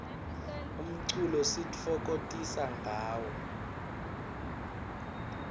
umculo sititfokotisa ngawo